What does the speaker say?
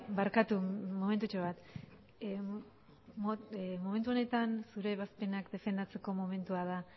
barkatu momentutxo bat momentu honetan zure ebazpenak defendatzeko momentua da